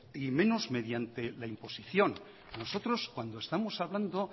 y menos mediante la imposición nosotros cuando estamos hablando